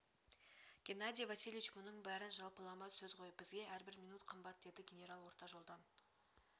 геннадий васильевич мұның бәрі жалпылама сөз ғой бізге әрбір минут қымбат деді генерал орта жолдан